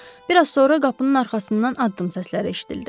Bir az sonra qapının arxasından addım səsləri eşidildi.